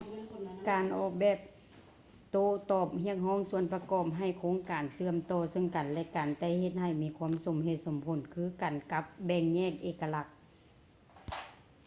ການອອກແບບໂຕ້ຕອບຮຽກຮ້ອງສ່ວນປະກອບໃຫ້ໂຄງການເຊື່ອມຕໍ່ເຊິ່ງກັນ ແລະ ກັນ ແຕ່ເຮັດໃຫ້ມີຄວາມສົມເຫດສົມຜົນຄືກັນກັບແບ່ງແຍກເອກະລັກ